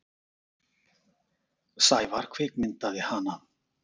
Sævar kvikmyndaði hana.